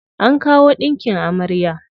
An kawo ɗinkin amarya.